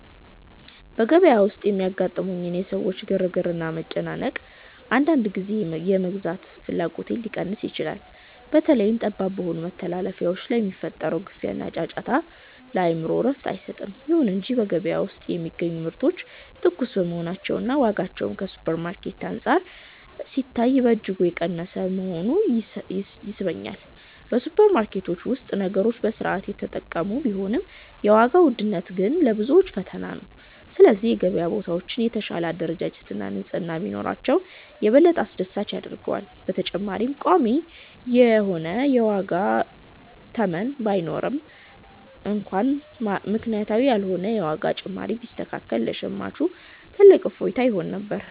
በገበያ ውስጥ የሚያጋጥሙኝ የሰዎች ግርግርና መጨናነቅ፣ አንዳንድ ጊዜ የመግዛት ፍላጎቴን ሊቀንስ ይችላል። በተለይም ጠባብ በሆኑ መተላለፊያዎች ላይ የሚፈጠረው ግፊያና ጫጫታ፣ ለአእምሮ እረፍት አይሰጥም። ይሁን እንጂ በገበያ ውስጥ የሚገኙ ምርቶች ትኩስ መሆናቸውና ዋጋቸውም ከሱፐርማርኬቶች አንፃር ሲታይ በእጅጉ የቀነሰ መሆኑ ይስበኛል። በሱፐርማርኬቶች ውስጥ ነገሮች በሥርዓት የተቀመጡ ቢሆንም፣ የዋጋው ውድነት ግን ለብዙዎች ፈታኝ ነው። ስለዚህ የገበያ ቦታዎች የተሻለ አደረጃጀትና ንጽሕና ቢኖራቸው፣ የበለጠ አስደሳች ያደርገዋል። በተጨማሪም ቋሚ የዋጋ ተመን ባይኖርም እንኳን፣ ምክንያታዊ ያልሆነ የዋጋ ጭማሪ ቢስተካከል ለሸማቹ ትልቅ እፎይታ ይሆን ነበር።